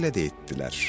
Belə də etdilər.